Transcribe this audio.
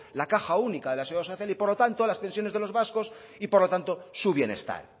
la caja única de la seguridad social y por lo tanto a las pensiones de los vascos y por lo tanto su bienestar